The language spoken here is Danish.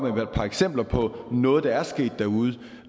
et par eksempler på noget der er sket derude